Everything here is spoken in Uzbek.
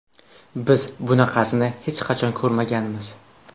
Biz bunaqasini hech qachon ko‘rmaganmiz.